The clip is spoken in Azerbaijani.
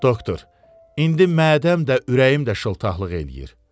Doktor, indi mədəmdə, ürəyimdə şıltaqlıq eləyir.